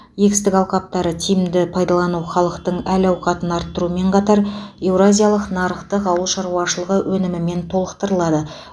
егістік алқаптарды тиімді пайдалану халықтың әл ауқатын арттырумен қатар еуразиялық нарықты ауыл шаруашылығы өнімімен толықтырады